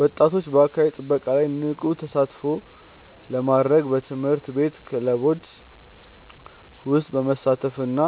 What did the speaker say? ወጣቶች በአካባቢ ጥበቃ ላይ ንቁ ተሳትፎ ለማድረግ በትምህርት ቤት ክበቦች ውስጥ በመሳተፍና